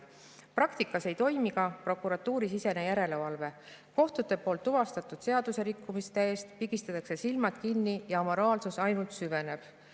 Praktikas ei toimi ka prokuratuurisisene järelevalve, kohtute poolt tuvastatud seaduserikkumiste ees pigistatakse silmad kinni ja amoraalsus ainult süveneb.